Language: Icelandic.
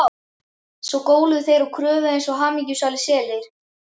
Svo góluðu þeir og köfuðu eins og hamingjusamir selir.